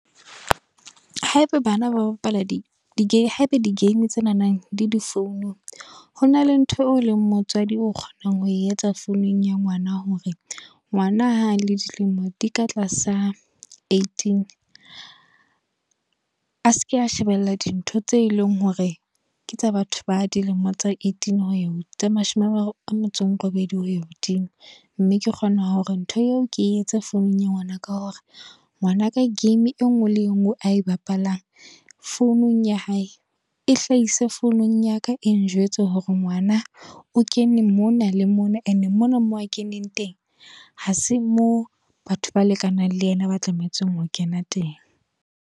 Haeba bana ba bapala di di-gay. Haeba di-game tsena nang di le founung. Ho na le ntho eo leng motswadi o kgonang ho e etsa founung ya ngwana. Hore ngwana ha le dilemo di ka tlasa eighteen. A seke a shebella dintho tse eleng hore ke tsa batho ba dilemo tse eighteen ho ya tse mashome a mararo a metso e robedi ho ya hodimo. Mme ke kgona hore ntho eo ke etse founung ya ngwana ka hore, ngwana ka game e nngwe le engwe a e bapalang founung ya hae. E hlahise founung ya ka e njwetse hore ngwana o kene mona le mona and mona moo a keneng teng. Ha se mo batho ba lekanang le yena ba tlametse ho kena teng.